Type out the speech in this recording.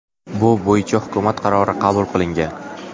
Bu bo‘yicha hukumat qarori qabul qilingan.